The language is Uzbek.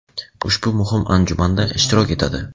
ushbu muhim anjumanda ishtirok etadi.